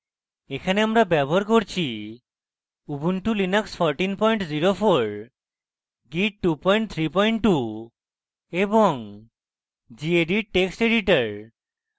এখানে আমরা ব্যবহার করছি